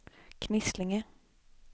Knislinge